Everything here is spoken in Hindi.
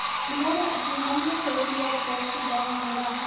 उन्होंने अपने मन में फैसला किया कि गॉँव मेरा है